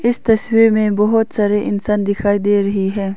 इस तस्वीर में बहुत सारे इंसान दिखाई दे रही है।